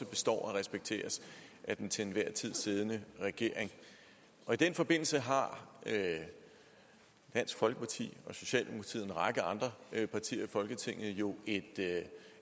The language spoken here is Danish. består og respekteres af den til enhver tid siddende regering i den forbindelse har dansk folkeparti og socialdemokratiet og en række andre partier i folketinget jo en